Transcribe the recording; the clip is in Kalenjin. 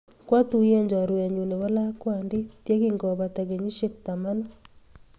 Kwatuyen chorwennyu nepo lakwandit ye kingopata kenyisyek tamanu.